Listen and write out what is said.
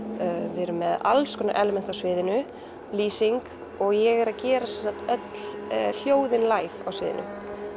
við erum með alls konar element á sviðinu lýsing og ég er að gera sem sagt öll hljóðin á sviðinu